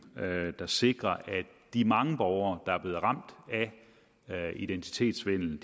der sikrer at de mange borgere der er blevet ramt af identitetssvindel